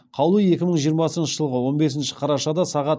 қаулы екі мың жиырмасыншы жылғы он бесінші қарашада сағат